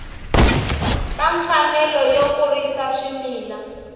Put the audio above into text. ka mfanelo yo kurisa swimila